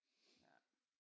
Ja